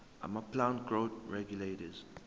amaplant growth regulators